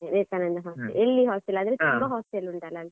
Vivekananda hostel , ಎಲ್ಲಿ hostel ಆದ್ರೆ hostel ಉಂಟಾಲ.